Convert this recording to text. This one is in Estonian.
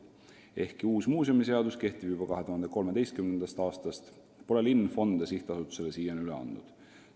Ehkki uus muuseumiseadus kehtib juba 2013. aastast, pole linn fonde sihtasutusele siiani üle andnud.